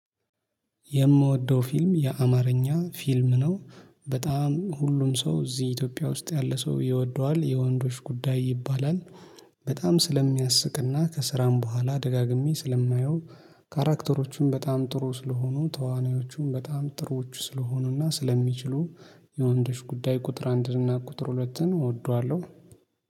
የምወደው ፊልም የአማርኛ ፊልም ነው በጣም ሁሉም ሰው እዚህ ኢትዮጵያ ውስጥ ያለ ሰው ይወደዋል የወንዶች ጉዳይ ይባላል። በጣም ስለሚያስቅና ከስራም በኋላ ደጋግሜ ስለማየው ካራክተሮቹን በጣም ጥሩ ስለሆኑ ተዋናዮቹም በጣም ጥሩዎች ስለሆኑና ስለሚችሉ የወንዶች ጉዳይ ቁጥር አንድና ቁጥር ሁለት እወደዋለሁ።